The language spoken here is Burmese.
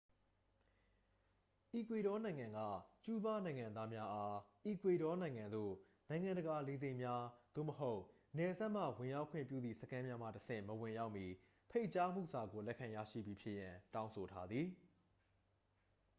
အီကွေဒေါနိုင်ငံက ကျူးဘားနိုင်ငံသားများအား အီကွေဒေါနိုင်ငံသို့ နိုင်ငံတကာလေဆိပ်များ သို့မဟုတ် နယ်စပ်မှ ဝင်ရောက်ခွင့်ပြုသည့်စခန်းများမှတဆင့် မဝင်ရောက်မီ ဖိတ်ကြားမှုစာကို လက်ခံရရှိပြီးဖြစ်ရန် တောင်းဆိုထားသည်